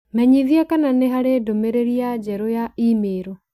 Menyithia kana nĩ harĩ ndũmĩrĩri ya njerũ ya i-mīrū